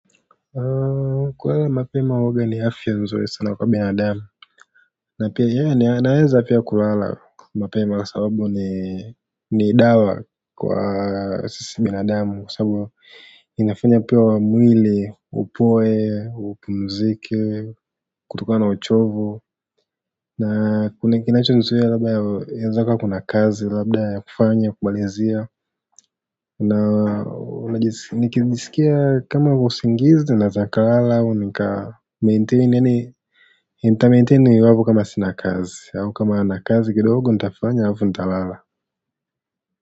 Kulala mapema huwaga ni afya nzuri sana kwa binadamu na pia yanaweza pia kulala mapema kwa sababu ni dawa kwa sisi binadamu kwa sababu inafanya pia wa mwili, upoe, upumzike, kutokana na uchovu na kinachonizuia labda inawezakuwa kuna kazi, labda ya kufanya, kumalizia na nikijisikia kama usingizi, naeza nikalala, au nika nita-maintain iwapo kama sina kazi, au kama nina kazi kidogo nitafanya alafu nitalala.